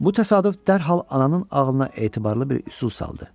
Bu təsadüf dərhal ananın ağlına etibarlı bir üsul saldı.